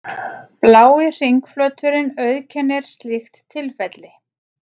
blái hringflöturinn auðkennir slíkt tilfelli